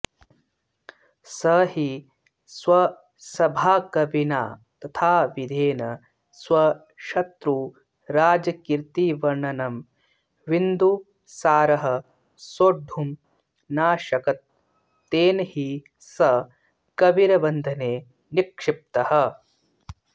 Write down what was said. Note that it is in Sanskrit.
स हि स्वसभाकविना तथा विधेन स्वशत्रुराजकीर्तिवर्णनं विन्दुसारः सोढुं नाशकत् तेन हि स कविर्बन्धने निक्षिप्तः